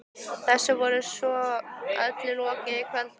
Þessu var svo öllu lokið fyrir kvöldmat.